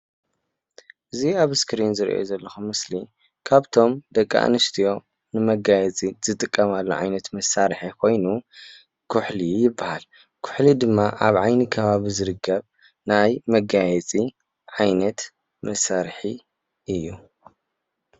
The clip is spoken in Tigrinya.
እዚ ኣብ እስኪሪን ዝርኦ ዘሎኩ ምስሊ ካብቶም ደቂ አንስትዮ ንመጋየፂ ዝጥቀማሉ ዓይነት መሳሪሒ ኾይኑ ኩሑሉ ይባሃል። ኩሑሉ ድማ ኣብ ዓይኒ ከባቢ ዝርከብ ናይ መጋየፂ ዓይነት መሳሪሒ እዩ።